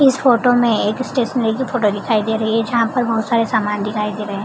इस फोटो में एक स्टेशनरी की फोटो दिखाई दे रही है जहाँ पर बहोत सारे सामान दिखाई दे रहे --